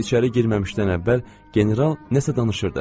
Biz içəri girməmişdən əvvəl general nəsə danışırdı.